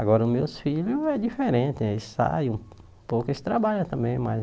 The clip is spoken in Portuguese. Agora os meus filhos é diferente, eles saem um pouco, eles trabalham também, mas...